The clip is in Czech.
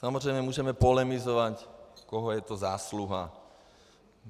Samozřejmě můžeme polemizovat, koho je to zásluha.